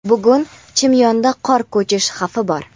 Bugun "Chimyon" da qor ko‘chish xavfi bor.